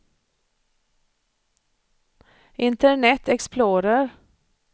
internet explorer